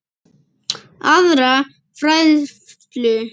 aðra færslu.